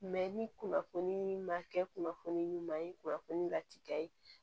ni kunnafoni ma kɛ kunnafoni ɲuman ye kunnafoni lati ye